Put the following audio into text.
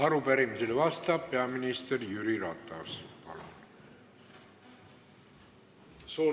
Arupärimisele vastab peaminister Jüri Ratas.